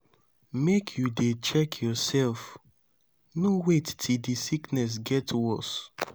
make you dey check yoursef no wait till di sickness get worse.